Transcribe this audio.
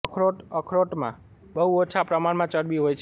અખરોટ અખરોટમા બહુ ઓછા પ્રમાણમા ચરબી હોય છે